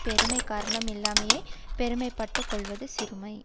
பெருமை காரணம் இல்லாமலேயே பெருமை பட்டு கொள்வது சிறுமை